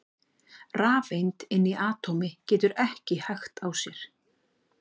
rafeind inni í atómi getur ekki hægt á sér!